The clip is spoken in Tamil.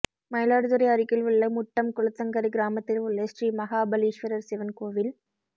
மயிலாடுதுறை அருகில் உள்ள முட்டம் குளத்தங்கரை கிராமத்தில் உள்ள ஸ்ரீமஹாபலீஸ்வரர் சிவன் கோவில்